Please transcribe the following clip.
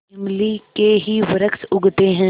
इमली के ही वृक्ष उगते हैं